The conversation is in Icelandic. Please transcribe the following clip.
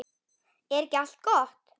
Er ekki allt gott?